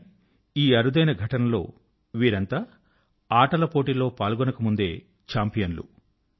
కానీ ఈ అరుదైన ఘటనలో వీరంతా ఆటల పోటీలో పాల్గొనకముందే చాంపియన్లు